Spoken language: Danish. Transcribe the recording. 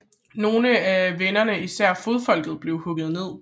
Nogle af venderne især fodfolket blev hugget ned